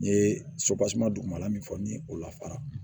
N ye sopaseman dugumana min fɔ ni o la fara